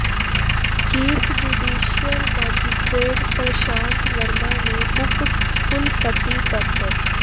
chief judicial magistrate Prashant Verma ਨੇ ਉਪ ਕੁਲਪਤੀ ਡਾ